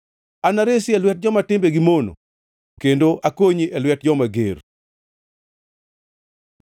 “Anaresi e lwet joma timbegi mono kendo akonyi e lwet joma ger.”